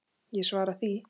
Ég svara því.